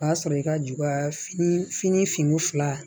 O b'a sɔrɔ i ka ju kaa fini fini fila